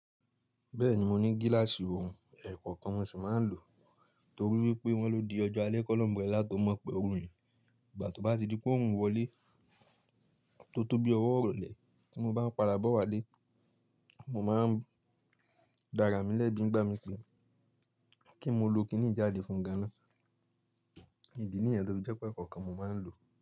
Bẹ́ẹ̀ni mo ní gíláàsì ohun ẹ̀kọ́ kan wón sì máa ń lò torí wípé wón ló di ọjọ́ alẹ́ kọ lọ umbrella tó mọ̀ pé ọrùn yìí. Ìgbà tó bá ti di pé òòrùn wọlé tó tó bí ọwọ́ rọlẹ̀ tí mo bá ń pa dá bọ̀ wá lé, mo máa ń dára mi lẹ́bi ń gbá mi kí, kí mo lo kiní yi jáde fún gan náà. Ìdí nìyẹn to fi jẹ́ pé ẹkọ̀ọ̀kan mo máa ń lò.